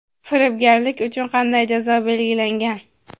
Firibgarlik uchun qanday jazo belgilangan?.